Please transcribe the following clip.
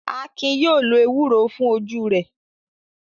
Akin yóò lo ewúro fún ojú rẹ̀.